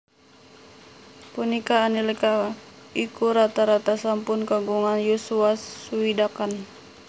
Punika nalika iku rata rata sampun kagungan yuswa swidakan